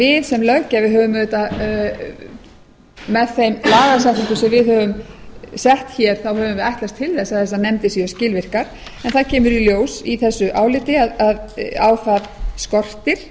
við sem löggjafi höfum auðvitað með þeim lagatextum sem við höfum sett hér þá höfum við ætlast til þess að þessar nefndir séu skilvirkar en það kemur í ljós í þessu áliti að á það skortir